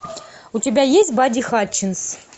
у тебя есть бадди хатчинс